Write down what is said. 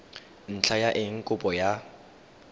ntlha ya eng kopo ya